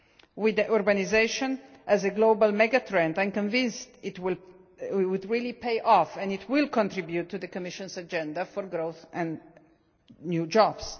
With urbanisation as a global mega trend, I am convinced that it will really pay off and will contribute to the Commission's agenda for growth and new jobs.